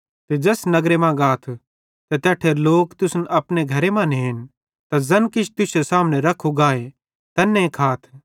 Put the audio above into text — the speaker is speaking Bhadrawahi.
ते ज़ैस नगर मां गाथ ते तैट्ठेरे लोक तुसन अपने घरे मां नेन त ज़ैन किछ तुश्शे सामने रख्खू गाए तैन्ने खाथ